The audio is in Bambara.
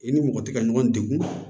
I ni mɔgɔ tɛ ka ɲɔgɔn degun